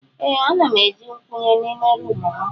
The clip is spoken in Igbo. Ee ana m eji nkwunye n'ime roomu m.